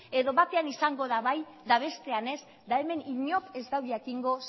edo batean izango da bai eta bestean ez eta hemen inork ez du jakingo